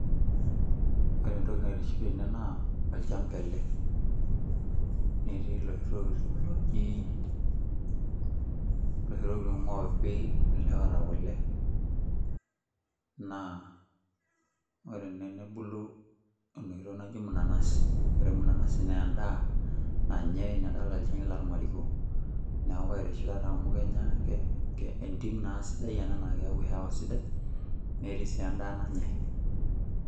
Ore eetoki naitiship tena naa olchamba ele, netii loshi tokitin ooji loshi tokitin oopi loota kule naa ore tenebulu enoshi toki naji mnanasi ore mnanasi naa edaa nanyae nadolita irkeek loormariko, neaku kaitiship amu kenyae na etim si sidai ena naa eyau hewa sidai netii si edaa nanyae.